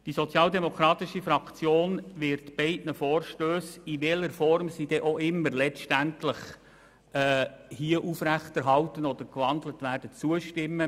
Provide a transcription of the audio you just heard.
Die SP-JUSO-PSA-Fraktion wird beiden Vorstössen, in welcher Form sie dann letztendlich auch überwiesen oder gewandelt werden, zustimmen.